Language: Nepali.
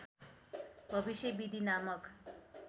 भविष्य विधि नामक